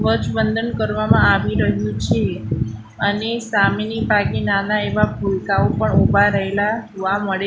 ધ્વજવંદન કરવામાં આવી રહ્યું છે અને સામેની નાના એવા ભૂલકાઓ પણ ઊભા રહેલા જોવા મળે--